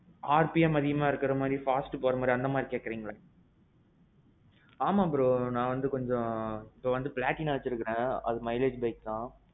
rpm அதிகமா இருக்குற மாறி, fast போற மாறி அந்த மாறி கேக்குறீங்களா? ஆமாம் bro நான் வந்து கொஞ்சம், நான் வந்து platina வச்சிருக்கிறேன் அது வந்து mileage bike தான்.